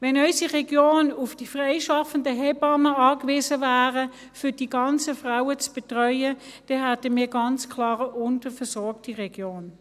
Wenn unsere Region auf die freischaffenden Hebammen angewiesen wäre, um die ganzen Frauen zu betreuen, hätten wir ganz klar eine unterversorgte Region.